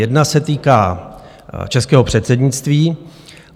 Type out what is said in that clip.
Jedna se týká českého předsednictví.